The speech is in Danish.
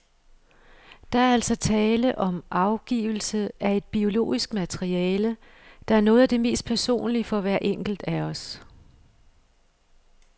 Der er altså tale om afgivelse af et biologisk materiale, der er noget af det mest personlige for hver enkelt af os.